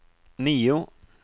nio